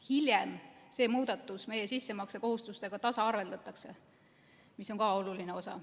Hiljem see muudatus meie sissemaksekohustustega tasaarveldatakse, mis on ka oluline osa.